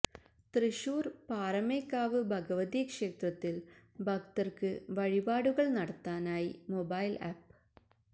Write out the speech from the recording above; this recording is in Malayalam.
തൃശ്ശൂര് പാറമേക്കാവ് ഭഗവതി ക്ഷേത്രത്തില് ഭക്തര്ക്ക് വഴിപാടുകള് നടത്താനായി മൊബൈല് ആപ്പ്